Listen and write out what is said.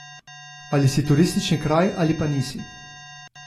Ali si turistični kraj ali pa nisi.